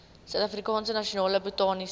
suidafrikaanse nasionale botaniese